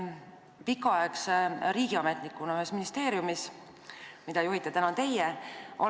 Olen olnud pikka aega riigiametnik ühes ministeeriumis, mida juhite täna teie.